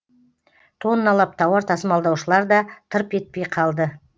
тонналап тауар тасымалдаушылар да тырп етпей қалды